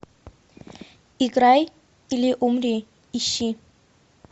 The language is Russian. играй или умри ищи